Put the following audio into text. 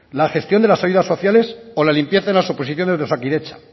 la gestión de las ayudas sociales o la limpieza en las oposiciones de osakidetza